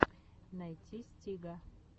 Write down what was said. найти стига